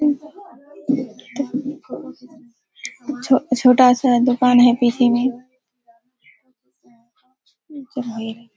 छो छोटा सा दुकान है पीछे में।